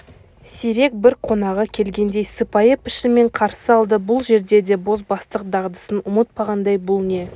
сирек бір қонағы келгендей сыпайы пішінмен қарсы алды бұл жерде де бозбастық дағдысын ұмытпағандай бұл не